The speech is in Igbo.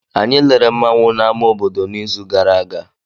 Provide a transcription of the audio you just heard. Anyị lere nmanwu na ama obodo n'izu gara aga.